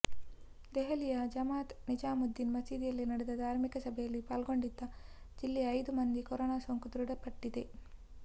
ದೆಹಲಿಯ ಜಮಾತ್ ನಿಜಾಮುದ್ದಿನ್ ಮಸೀದಿಯಲ್ಲಿ ನಡೆದ ಧಾರ್ಮಿಕ ಸಭೆಯಲ್ಲಿ ಪಾಲ್ಗೊಂಡಿದ್ದ ಜಿಲ್ಲೆಯ ಐದು ಮಂದಿಗೆ ಕೊರೋನಾ ಸೋಂಕು ದೃಢಪಟ್ಟಿದೆ